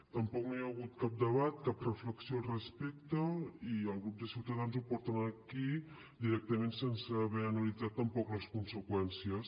tampoc no hi ha hagut cap debat cap reflexió al respecte i el grup de ciutadans ho porta aquí directament sense haver analitzat tampoc les conseqüències